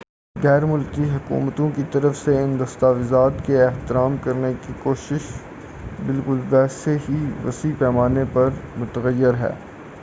غیر ملکی حکومتوں کی طرف سے ان دستاویزات کے احترام کرنے کی خواہش بالکل ویسے ہی وسیع پیمانے پر متغیر ہے